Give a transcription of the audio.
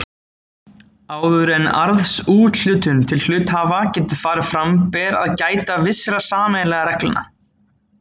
Áður en arðsúthlutun til hluthafa getur farið fram ber að gæta vissra sameiginlegra reglna.